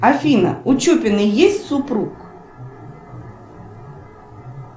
афина у чупиной есть супруг